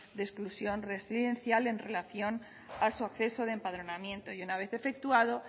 de exclusión residencia en relación a su acceso de empadronamiento y una vez efectuado